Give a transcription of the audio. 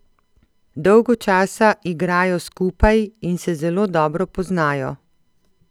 Dolgo časa igrajo skupaj in se zelo dobro poznajo.